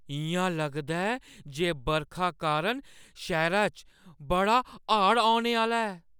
इ'यां लगदा ऐ जे बरखा कारण शैह्‌रै च बड़ा हाड़ औने आह्‌ला ऐ।